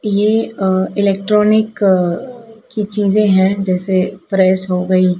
ये अह इलेक्ट्रॉनिक अह की चीजें हैं जैसे प्रेस हो गई।